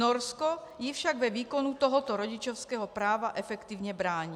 Norsko jí však ve výkonu tohoto rodičovského práva efektivně brání.